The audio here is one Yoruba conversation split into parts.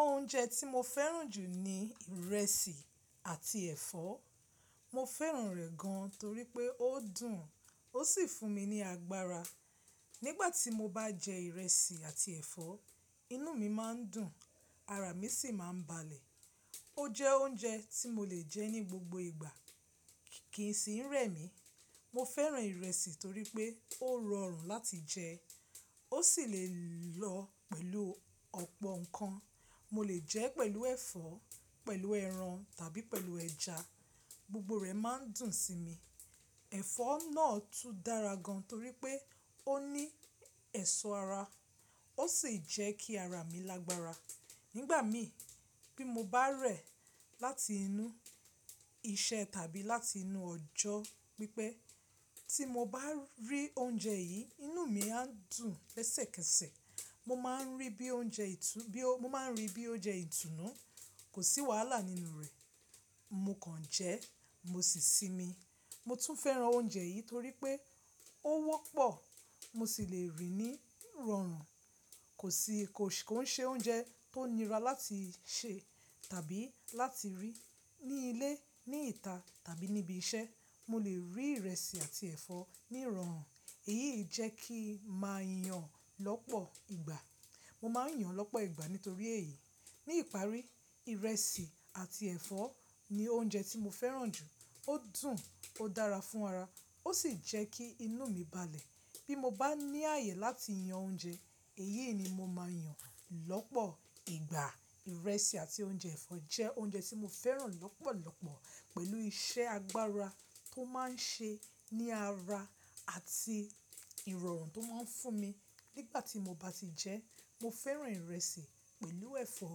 Oúnjẹ tí mo fẹ́ràn jù ni ìrẹsì àti ẹ̀fọ́. Mo fẹ́ràn rẹ̀ gan torí pé ó dùn ó sì fún mi ní agbára. Nígbà tí mo bá jẹ ìrẹsì àti ẹ̀fọ́, inú mi má n dùn, ara mi sì má n balẹ̀. Ó jẹ oúnjẹ tí mo lè jẹ ní gbogbo ìgbà kì í sì n rẹ̀ mí. Mo fẹ́ràn ìrẹsì torí pé ó rọrùn láti jẹ, ó sì le lọ pẹ̀lú ọ̀pọ̀ ǹkan. Mo lè jẹ ẹ́ pẹ̀lú ẹ̀fọ́, pẹ̀lú ẹran tàbí pẹ̀lú ẹja, gbogbo rẹ má n dùn sí mi. Ẹ̀fọ́ náà tún dára gan torí pé ó ní ẹ̀ṣọ́ ara, ó sì jẹ́ kí ara mi lágbára. Nígbà mí bí mo bá rẹ̀ láti inú iṣẹ tàbí láti inú ọjọ́ pípẹ́, tí mo bá rí oúnjẹ yìí, inú mi a dùn kẹ́sẹ̀kẹ́sẹ̀. Mo ma n rí bí i oúnjẹ ìtú, bí ó mo ma n rí bí i oúnjẹ ìtùnú, kò sí wàhálà nínú rẹ̀. Mo kàn jẹ́ mo sì sinmi. Mo tún fẹ́ràn oúnjẹ yìí torí pé ó wọ́pọ̀ mo sì lè rí i ní ìrọ̀rùn. Kò si kò sì kò ṣe oúnjẹ tó nira láti sè tàbí láti rí. Ní ilé, ní ìta tàbí níbi iṣẹ́ mo lè rí ìrẹsì àti ẹ̀fọ́ ní ìrọ̀rùn. Èyí jẹ́ kí n má a yàn ọ́n lọ́pọ̀ ìgbà. Mo ma n yan ọ́n lọ́pọ̀ ìgbà nítorí èyí. Ní ìparí, ìrẹsì àti ẹ̀fọ́ ni oúnjẹ tí mo fẹ́ràn jù. Ó dùn ó dára fún ara, ó sì jẹ́ kí inú mi balẹ̀. Bí mo bá ní ààyè láti yan oúnjẹ, èyí ni mo ma a yan lọ́pọ̀ ìgbà. Ìrẹsì àti oúnjẹ ẹ̀fọ́ jẹ́ oúnjẹ tí mo fẹ́ràn lọ́pọ̀lọ́pọ̀ pẹ̀lú iṣẹ́ agbára tó má a ń ṣe ní ara àti ìrọ̀rùn tó má a ń fún mi nígbà tí mo bá ti jẹ ẹ́. Mo fẹ́ràn ìrẹsì pẹ̀lú ẹ̀fọ́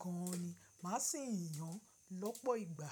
gan ni, màá sì ń yan lọ́pọ̀ ìgbà.